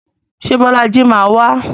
Ṣé Bọ́lájí máa wá?